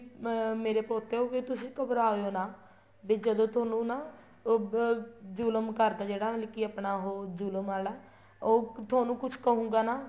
ਅਹ ਮੇਰੇ ਪੋਤੋ ਹੋ ਵੀ ਤੁਸੀਂ ਘਬਰਾਓ ਨਾ ਵੀ ਜਦੋਂ ਤੁਹਾਨੂੰ ਨਾ ਅਹ ਜ਼ੁਲਮ ਕਾਰਕ ਜਿਹੜਾ ਮਤਲਬ ਕੀ ਆਪਣਾ ਉਹ ਜ਼ੁਲਮ ਆਲਾ ਉਹ ਤੁਹਾਨੂੰ ਕੁੱਛ ਕਹੂਗਾ ਨਾ